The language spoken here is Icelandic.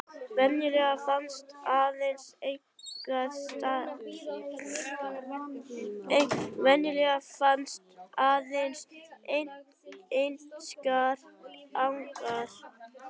Venjulega finnast aðeins einstakir angar.